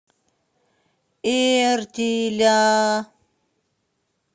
эртиля